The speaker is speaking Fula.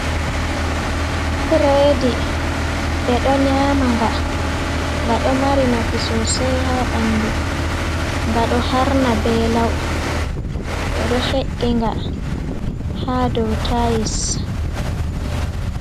Buredi ɓe ɗo nyaama nga, nga ɗo mari nafu sosay haa ɓanndu, nga ɗo harna ,be law ɓe ɗo he’inga haa dow tayis.